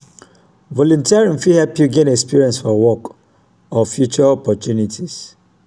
volunteering fit help yu gain experience for work or future opportunities.